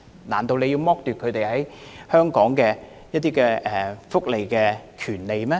難道議員認為要剝奪他們享有香港福利的權利嗎？